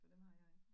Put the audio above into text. For dem har jeg